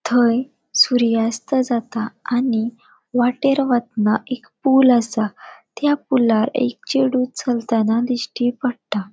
थंय सूर्यास्त जाता आणि वाटेन वतना एक पुल असा त्या पुलार एक चेडु चलताना दिठी पट्टा.